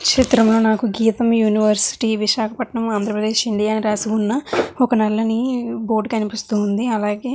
చిత్రం లో నాకు గీతం యూనివర్సిటీ విశాఖపట్నం ఆంధ్ర ప్రదేశ్ ఇండియా అని రాసిఉన్న నల్లని బోర్డు కనిపిస్తుంది అలాగే --